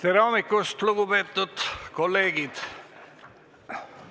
Tere hommikust, lugupeetud kolleegid!